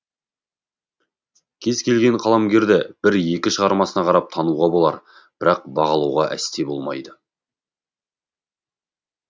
кез келген қаламгерді бір екі шығармасына қарап тануға болар бірақ бағалауға әсте болмайды